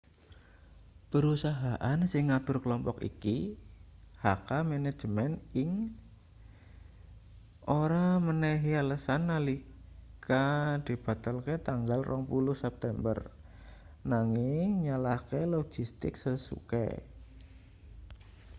perusahaan sing ngatur klompok iki hk manajemen inc ora menehi alesan nalika dibatalke tanggal 20 september nanging nyalahke logistik sesuke